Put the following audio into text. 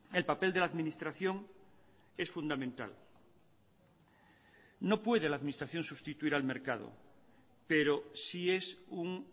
el papel de la administración es fundamental no puede la administración sustituir al mercado pero sí es un